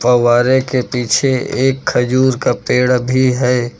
फव्वारे के पीछे एक खजूर का पेड़ भी है।